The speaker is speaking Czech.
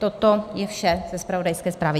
Toto je vše ze zpravodajské zprávy.